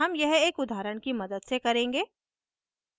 हम यह एक उदाहरण की मदद से करेंगे